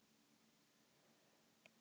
Bjarnharður, hvernig er veðrið úti?